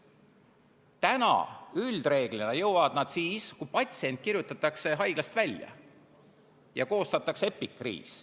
Praegu jõuavad nad üldreeglina sinna siis, kui patsient kirjutatakse haiglast välja ja koostatakse epikriis.